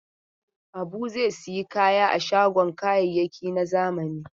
Habu zai sayi kaya a shagon kayayyaki na zamani.